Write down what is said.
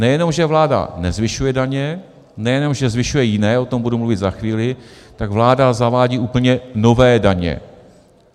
Nejenom že vláda nezvyšuje (?) daně, nejenom že zvyšuje jiné, o tom budu mluvit za chvíli, tak vláda zavádí úplně nové daně.